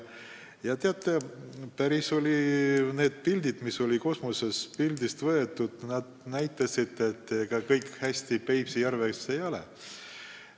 Ja teate, need pildid, mis olid kosmosest tehtud, näitasid, et ega kõik Peipsi järves hästi ei ole.